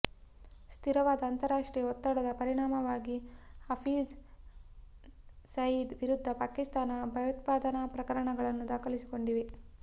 ಸ್ಥಿರವಾದ ಅಂತಾರಾಷ್ಟ್ರೀಯ ಒತ್ತಡದ ಪರಿಣಾಮವಾಗಿ ಹಫೀಝ್ ಸಯೀದ್ ವಿರುದ್ಧ ಪಾಕಿಸ್ತಾನ ಭಯೋತ್ಪಾದನಾ ಪ್ರಕರಣಗಳನ್ನು ದಾಖಲಿಸಿಕೊಂಡಿದೆ